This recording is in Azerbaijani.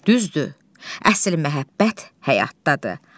Düzdür, əsl məhəbbət həyatdadır.